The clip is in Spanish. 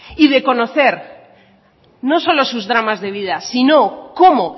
y de conocer no solo sus dramas de vida sino cómo